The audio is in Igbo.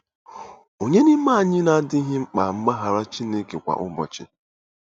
Ònye n'ime anyị na-adịghị mkpa mgbaghara Chineke kwa ụbọchị?